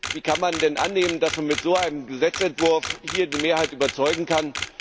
Wie kann man denn annehmen, dass man mit so einem Gesetzentwurf hier die Mehrheit überzeugen kann?